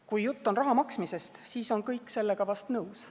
Kui jutt on raha maksmisest, siis on kõik sellega vahest nõus.